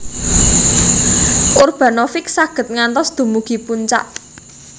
Urbanovic saged ngantos dumugi puncak